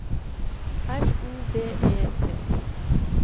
L O V E T